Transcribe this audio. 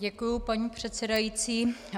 Děkuji, paní předsedající.